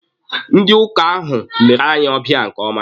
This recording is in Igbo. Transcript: Ndị ọka ahụ lere anyi ọbịa nke ọma.